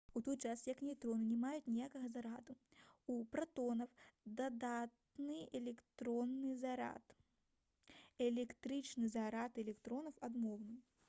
у той час як нейтроны не маюць ніякага зараду у пратонаў дадатны электрычны зарад электрычны зарад электронаў адмоўны